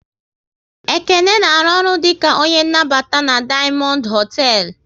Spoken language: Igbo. Ekene na arụ ọrụ dịka onye nnabata na Dayamondu hotel